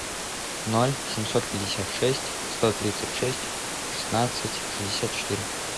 ноль семьсот пятьдесят шесть сто тридцать шесть шестнадцать шестьдесят четыре